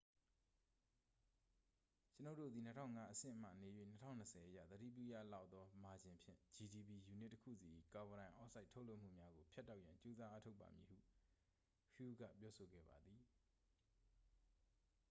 """ကျွန်ုပ်တို့သည် ၂၀၀၅ အဆင့်မှနေ၍ ၂၀၂၀ အရ သတိပြုရလောက်သောမာဂျင်ဖြင့် gdp ယူနစ်တစ်ခုစီ၏ ကာဗွန်ဒိုင်အောက်ဆိုက် ထုတ်လွှတ်မှုများကို ဖြတ်တောက်ရန် ကြိုးစားအားထုတ်ပါမည်" ဟု hu က ပြောကြားခဲ့ပါသည်။